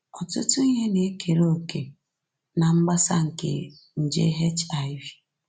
Ọtụtụ ihe na-ekere òkè ná mgbasa nke nje HIV